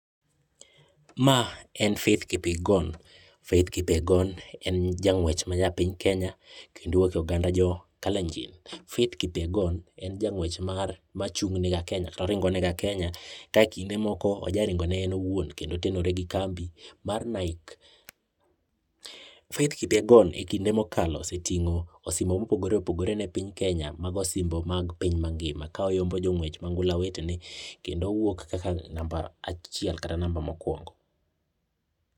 Ma en faith kipyegon, Faith Kipyegon en ja nguech ma nya piny kenya kendo owuok e oganda ma jo kalenji, faith Kipyegon en janguech machung ka kendo ringo ne ga kenya ka kinde moko ojaringo ne en owuon kendo oterone gi kambi mar Nike Faith Kipyegon e kinde mokalo osetingo osimbo mopogre opogre ne piny kenya mago osimbo mag piny ma ngima ka oyombo jonguech wete ne kendo owuok kaka namba achiel kata namba mokuongo.